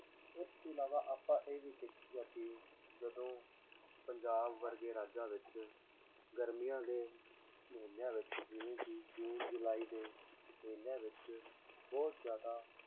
ਇਸ ਤੋਂ ਇਲਾਵਾ ਆਪਾਂ ਇਹ ਵੀ ਦੇਖੀਦਾ ਕਿ ਜਦੋਂ ਪੰਜਾਬ ਵਰਗੇ ਰਾਜਾਂ ਵਿੱਚ ਗਰਮੀਆਂ ਦੇ ਮਹੀਨਿਆਂ ਵਿੱਚ ਜਿਵੇਂ ਕਿ ਜੂਨ ਜੁਲਾਈ ਦੇ ਮਹੀਨਿਆਂ ਵਿੱਚ ਬਹੁਤ ਜ਼ਿਆਦਾ